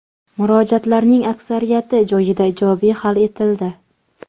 Murojaatlarning aksariyati joyida ijobiy hal etildi.